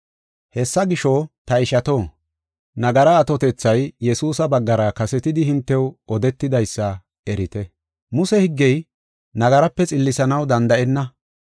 “Hessa gisho, ta ishato, nagara atotethay Yesuusa baggara kasetidi hintew odetidaysa erite. Muse higgey nagaraape xillisanaw danda7enna.